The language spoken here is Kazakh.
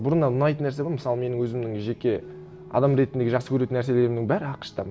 бұрыннан ұнайтын нәрсе ғой мысалы менің өзімнің жеке адам ретіндегі жақсы көретін нәрселерімнің бәрі ақш та